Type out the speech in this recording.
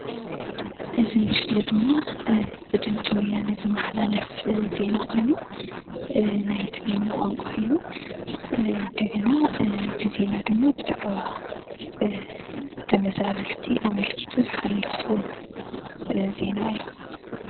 እዚ ምስሊ ድማ ብ ድምፂ ወያነ ዝመሓላለፍ ኮይኑ ብ ትግርኛ ቋንቋ ብዛዕባ ተመዛበልቲ አመልኪቱ ዝተሰርሐ ዜና እዩ::